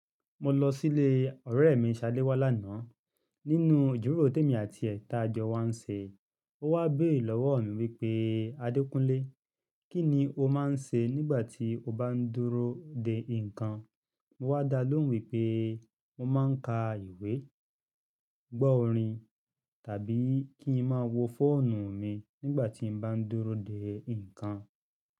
Mo lọ sílé ọ̀rẹ́ mi, Ṣaléwá lánàá. Nínú ìjuroro ti emi ati e tajo wa ń ṣe, ó wá béèrè lọ́wọ́ mi wípé "Adékúnlé, kí ni o máa ń ṣe nígbà tí o bá ń dúró de nǹkan?" Mo wá dá lóhùn wípé mo máa ń ka ìwé, gbọ́ orin tàbí kí n máa wo fóònù mi nígbà tí mo bá ń dúró de nǹkan.